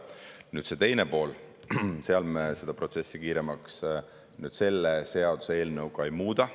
Nüüd see teine pool, seal me seda protsessi kiiremaks selle seaduseelnõuga ei muuda.